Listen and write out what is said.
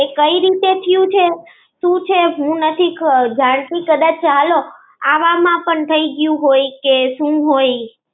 કઈ રીતે થ્યુ છે? સુ છે હું નથી કદા ચાલો. આવામાં પણ થઇ ગયું હોય કે હું હોય.